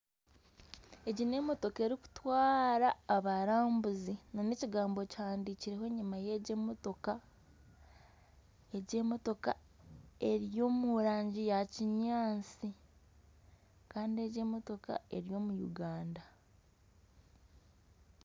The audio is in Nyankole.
Egi n'emotooka erikutwara abarambuzi na n'ekigambo kihandikirweho enyuma y'egi emotooka, egi emotooka eri omu rangi ya kinyaatsi kandi egi emotooka eri omu Uganda.